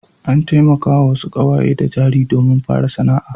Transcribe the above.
An taimakawa wasu ƙawaye da jari domin fara sana'a.